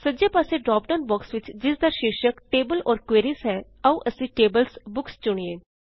ਸੱਜੇ ਪਾਸੇ drop down box ਵਿੱਚੋਂ ਜਿਸ ਦਾ ਸ਼ੀਰਸ਼ਕ ਟੇਬਲਜ਼ ਓਰ ਕੁਇਰੀਜ਼ ਹੈ ਆਓ ਅਸੀ Tables ਬੁੱਕਸ ਚੁਣੀਏ